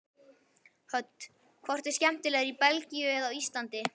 Hödd: Hvort er skemmtilegra í Belgíu en á Íslandi?